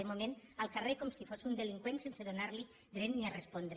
de moment al carrer com si fos un delinqüent sense donar·li dret ni a respondre